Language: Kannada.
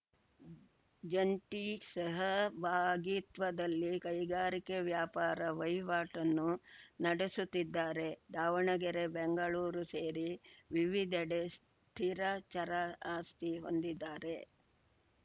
ಜಂಟಿ ಸಹಭಾಗಿತ್ವದಲ್ಲಿ ಕೈಗಾರಿಕೆ ವ್ಯಾಪಾರ ವಹಿವಾಟನ್ನು ನಡೆಸುತ್ತಿದ್ದಾರೆ ದಾವಣಗೆರೆ ಬೆಂಗಳೂರು ಸೇರಿ ವಿವಿಧೆಡೆ ಸ್ಥಿರ ಚರ ಆಸ್ತಿ ಹೊಂದಿದ್ದಾರೆ